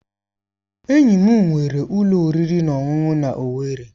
Enyi m nwere ulo oriri na ọṅụṅụ na Owerri.